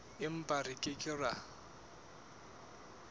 empa re ke ke ra